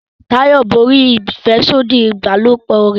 Tayo borí afẹsodi ìbálòpọ̀ rẹ